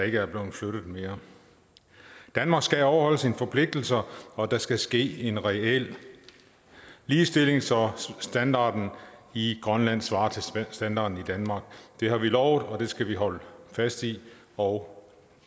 ikke er blevet flyttet mere danmark skal overholde sine forpligtelser og der skal ske en reel ligestilling så standarden i grønland svarer til standarden i danmark det har vi lovet og det skal vi holde fast i og